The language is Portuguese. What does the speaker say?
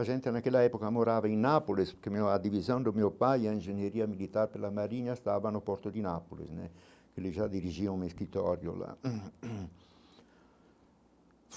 A gente, naquela época, morava em Nápoles, porque a divisão do meu pai e a engenharia militar pela Marinha, estava no Porto de Nápoles né, que ele já dirigia um escritório lá.